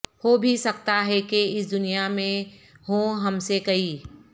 ہو بھی سکتا ہے کہ اس دنیا میں ہوں ہم سے کئی